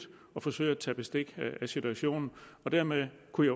og forsøgt at tage bestik af situationen og dermed kunne